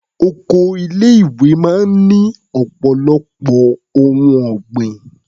Oko ilé-ìwé máa ń ní ọ̀pọ̀lọpọ̀ ohun ọ̀gbìn.